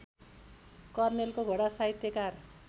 कर्नेलको घोडा साहित्यकार